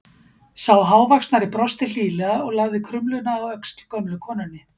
Sá hávaxnari brosti hlýlega og lagði krumluna á öxl gömlu konunni.